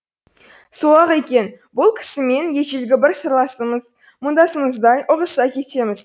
сол ақ екен бұл кісімен ежелгі бір сырласымыз мұңдасымыздай ұғыса кетеміз